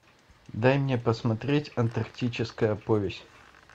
дай мне посмотреть антарктическая повесть